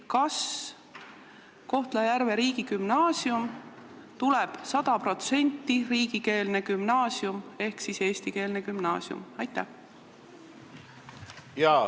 Kas Kohtla-Järve riigigümnaasium tuleb sada protsenti riigikeelne ehk eestikeelne gümnaasium?